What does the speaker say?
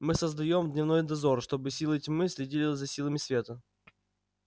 мы создаём дневной дозор чтобы силы тьмы следили за силами света